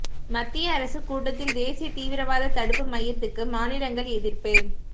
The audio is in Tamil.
மத்திய அரசு கூட்டத்தில் தேசிய தீவிரவாத தடுப்பு மையத்துக்கு மாநிலங்கள் எதிர்ப்பு